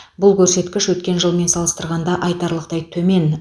бұл көрсеткіш өткен жылмен салыстырғанда айтарлықтай төмен